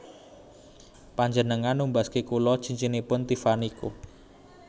Panjenengan numbasaken kula cincinipun Tiffany Co